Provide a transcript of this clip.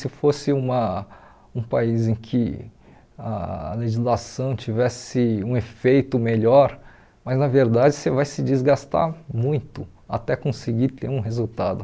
Se fosse uma um país em que ah a legislação tivesse um efeito melhor, mas, na verdade, você vai se desgastar muito até conseguir ter um resultado.